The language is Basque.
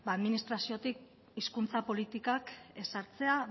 administraziotik hizkuntza politikak ezartzea